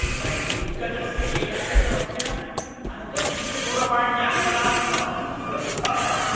विपणिदिग्गजस्य एकस्य प्रतिदिनं अनपेक्षितदूरवाण्यागमनात् अहं क्रुद्धः अस्मि।